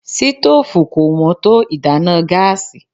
Sítófù kò wón tó ìdáná gáásì.